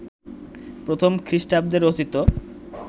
প্রথম খ্রিস্টাব্দে রচিত